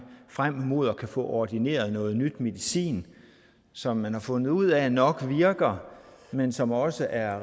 frem mod at kunne få ordineret noget nyt medicin som man har fundet ud af nok virker men som også er